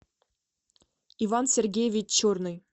иван сергеевич черный